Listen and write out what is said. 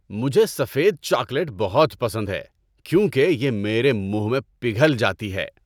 مجھے سفید چاکلیٹ بہت پسند ہے کیونکہ یہ میرے منہ میں پگھل جاتی ہے۔